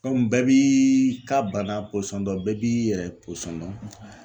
bɛɛ b'i ka bana pɔsɔn dɔn bɛɛ b'i yɛrɛ pɔsɔn dɔn